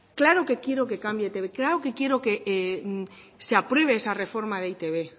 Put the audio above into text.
claro que quiero que cambie e i te be claro que quiero que se apruebe esa reforma de e i te be